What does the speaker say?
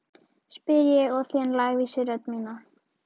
spyr ég og þen lævísi í rödd mína.